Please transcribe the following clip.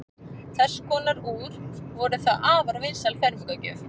þess konar úr voru þá afar vinsæl fermingargjöf